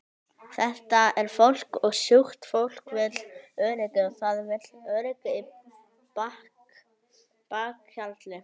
Þetta er fólk og sjúkt fólk vill öryggi og það vill öryggi í bakhjarli.